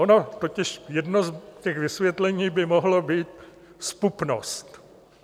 Ona totiž jedno z těch vysvětlení by mohla být zpupnost.